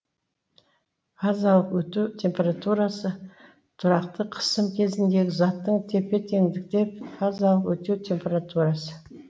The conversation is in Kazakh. фазалық өту температурасы тұракты қысым кезіндегі заттың тепе теңдікте фазалық өту температурасы